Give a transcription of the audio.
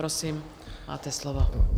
Prosím, máte slovo.